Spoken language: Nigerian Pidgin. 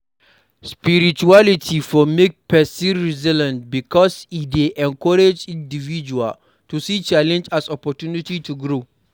Spirituality for make person resilient because e dey encourage individual to see challenge as opportunity to grow